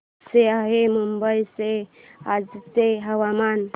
कसे आहे मुंबई चे आजचे हवामान